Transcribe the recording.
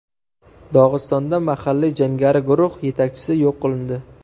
Dog‘istonda mahalliy jangari guruh yetakchisi yo‘q qilindi.